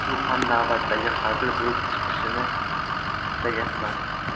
Bu ham navbatdagi hazil bo‘lib chiqishini istayapman.